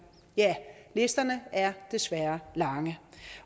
ja listerne er desværre lange